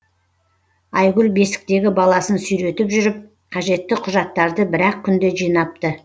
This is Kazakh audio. айгүл бесіктегі баласын сүйретіп жүріп қажетті құжаттарды бір ақ күнде жинапты